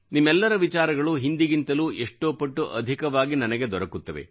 ನಿಮ್ಮೆಲ್ಲರ ವಿಚಾರಗಳು ಹಿಂದಿಗಿಂತಲೂ ಎಷ್ಟೋ ಪಟ್ಟು ಅಧಿಕವಾಗಿ ನನಗೆ ದೊರಕುತ್ತವೆ